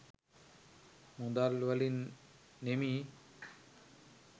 මුදල් වලින් නෙමී.